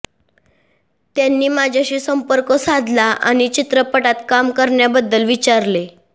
त्यांनी माझ्याशी संपर्क साधला आणि चित्रपटात काम करण्याबद्दल विचारले